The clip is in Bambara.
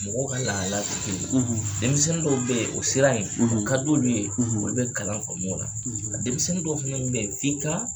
Mɔgɔw ka lahalaya te kelen ye. denmisɛnni dɔw be ye, o siran in, o kad'olu ye, olu bɛ kalan faamu o la. a denmisɛnni dɔw fanaw be ye f'i kaa